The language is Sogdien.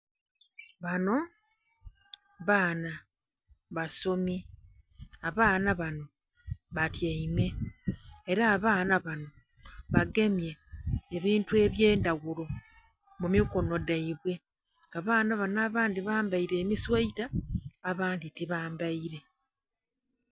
Banho baana basomi, abaana banho batyaime era abaana banho bagemye ebintu ebyendhaghulo mu mi kinho dhaibwe abaana banho abandhi bambaire emisweta abandhi tibambaire.